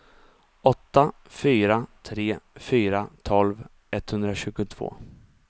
åtta fyra tre fyra tolv etthundratjugotvå